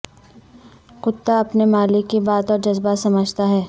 کتا اپنے مالک کی بات اور جذبات سجھتا ہے